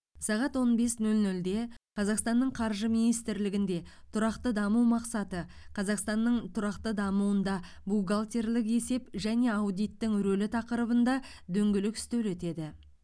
сағат он бес нөл нөлде қазақстанның қаржы министрлігінде тұрақты даму мақсаты қазақстанның тұрақты дамуында бухгалтерлік есеп және аудиттің рөлі тақырыбында дөңгелек үстел өтеді